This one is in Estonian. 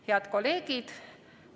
Head kolleegid!